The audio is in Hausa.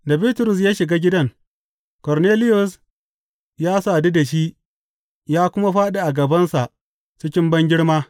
Da Bitrus ya shiga gidan, Korneliyus ya sadu da shi ya kuma fāɗi a gabansa cikin bangirma.